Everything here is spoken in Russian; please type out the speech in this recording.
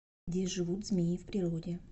где живут змеи в природе